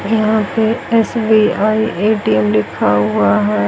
यहां पे S B I A T M लिखा हुआ हैं।